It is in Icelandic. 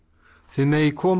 þið megið koma